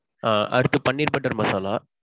அடுத்து paneer butter masala.